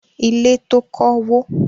Ilé tó kọ́ wó.